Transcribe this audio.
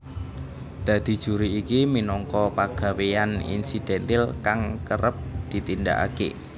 Dadi juri iki minangka pagawéyan insidentil kang kerep ditindakake